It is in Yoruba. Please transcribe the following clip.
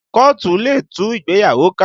Kóòtù lè tú ìgbéyàwó ká